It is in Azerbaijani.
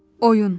Oyun.